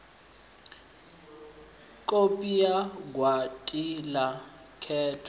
kopi ya gwati la khetho